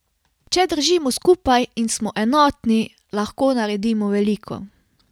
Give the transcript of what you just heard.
Če držimo skupaj in smo enotni, lahko naredimo veliko.